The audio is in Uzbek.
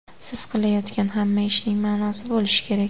Siz qilayotgan hamma ishning ma’nosi bo‘lishi kerak.